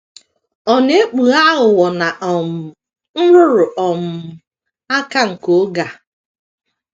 Ọ na - ekpughe aghụghọ na um nrụrụ um aka nke oge a.